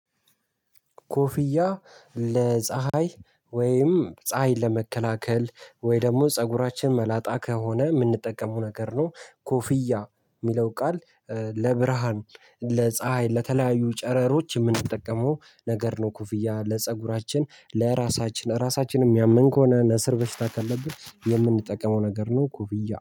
ኮፍያ ለፀሀይ ወይም ፀሀይን ለመከላከል ወይ ደግሞ ፀጉራችን መላጣ ከሆነ ምንጠቀመው ነገር ነው። ኮፍያ ሚለው ቃል ለብርሃን ለፀሀይ ለተለያዩ ጨረሮች ምንጠቀመው ነገር ነው። ኮፍያ ለፀጉራችን ለእራሳችን እራሳችን እሚያመን ከሆነ ነስር በሽታ ካለብን የምንጠቀመው ነገር ነው። ኮፍያ